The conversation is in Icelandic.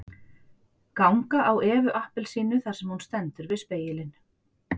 Ganga á Evu appelsínu þar sem hún stendur við spegilinn